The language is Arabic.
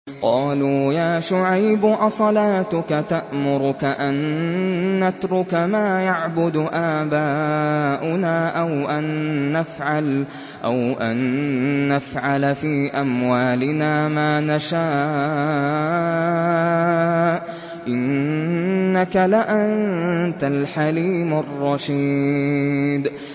قَالُوا يَا شُعَيْبُ أَصَلَاتُكَ تَأْمُرُكَ أَن نَّتْرُكَ مَا يَعْبُدُ آبَاؤُنَا أَوْ أَن نَّفْعَلَ فِي أَمْوَالِنَا مَا نَشَاءُ ۖ إِنَّكَ لَأَنتَ الْحَلِيمُ الرَّشِيدُ